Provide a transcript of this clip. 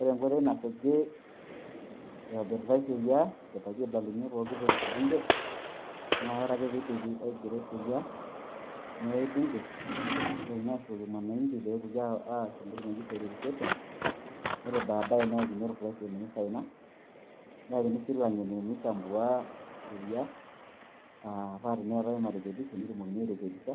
Ore enkoitoi nasuji, itobiritai sheria, idipaki aibalunye pooki toki te bunge ,na ore ake pidipi aigero sheria, eai bunge ,nitokini ashukoki wananchi pees entoki naji verification. Ore badae neakini o president misaina. Neakini si lang'eni mi chambua asuj sheria. Ah pa teneetae marekebisho ,netumokini airekebisha,